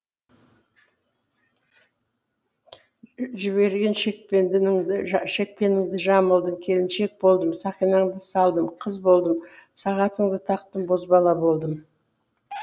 жіберген шекпеніңді жамылдым келіншек болдым сақинаңды салдым қыз болдым сағатыңды тақтым бозбала болдым